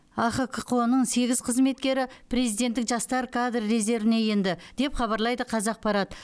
ахқо ның сегіз қызметкері президенттік жастар кадр резервіне енді деп хабарлайды қазақпарат